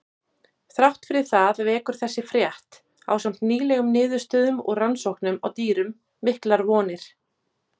Þrátt fyrir það vekur þessi frétt, ásamt nýlegum niðurstöðum úr rannsóknum á dýrum, miklar vonir.